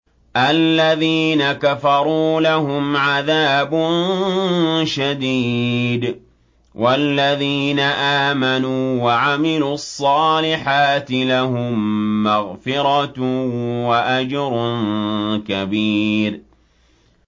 الَّذِينَ كَفَرُوا لَهُمْ عَذَابٌ شَدِيدٌ ۖ وَالَّذِينَ آمَنُوا وَعَمِلُوا الصَّالِحَاتِ لَهُم مَّغْفِرَةٌ وَأَجْرٌ كَبِيرٌ